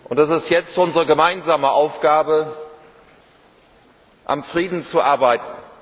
Es ist jetzt unsere gemeinsame Aufgabe, am Frieden zu arbeiten.